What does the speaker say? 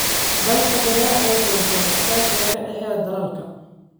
Dalagga beeraha ayaa xoojiya iskaashiga ka dhexeeya dalalka.